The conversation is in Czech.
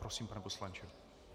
Prosím, pane poslanče.